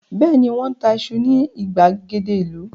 Bẹ́ẹ̀ni, Wọ́n ń ta iṣu ní ìgbàgede ìlú